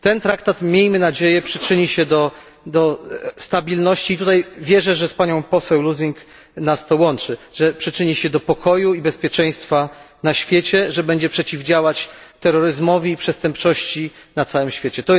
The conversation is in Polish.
Ten traktat, miejmy nadzieję, przyczyni się do stabilności i tutaj wierzę, że z panią poseł Lösing zajmujemy identyczny punkt widzenia że przyczyni się do pokoju i bezpieczeństwa na świecie, że będzie przeciwdziałać terroryzmowi i przestępczości na całym świecie.